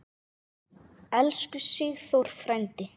Elsku Sigþór frændi.